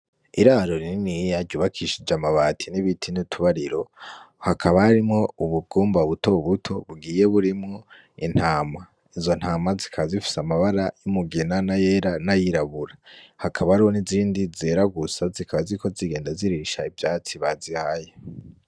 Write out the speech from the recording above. Iraro rininiya yiyaryubakishije amabati n'ibitine utubariro hakaba rimwo ubugumba butobu buto bugiye burimwo intama izo ntama zikazifise amabara y'imugina na yera n'ayirabura hakaba ariho n'izindi zera gusa zikaba ziko zigenda zirisha ivyatsi bazihaye.